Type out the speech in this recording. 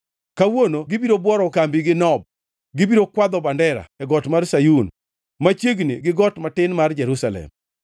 Kawuono gibiro bworo kambigi Nob; gibiro kwadho bandera, e got mar nyar Sayun, machiegni gi got matin mar Jerusalem.